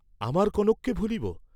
আমার কনককে ভুলিব!